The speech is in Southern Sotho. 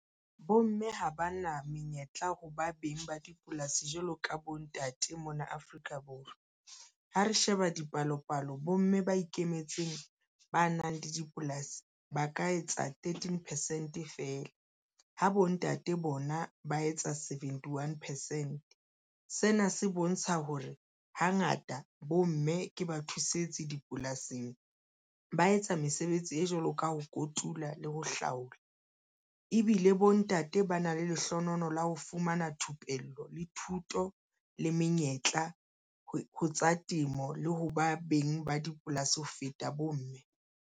Bomme ha ba na menyetla ho ba beng ba dipolasi jwalo ka bontate mona Afrika Borwa. Ha re sheba dipalopalo bomme ba ikemetseng, ba nang le dipolasi ba ka etsa thirteen percent feela ha bontate bona ba etsa seventy one percent. Sena se bontsha hore hangata bomme ke ba thusetsi dipolasing. Ba etsa mesebetsi e jwalo ka ho kotula le ho hlaola ebile le bontate ba na le lehlohonolo la ho fumana thupello le thuto le menyetla ho tsa temo, le ho ba beng ba dipolasi ho feta bomme.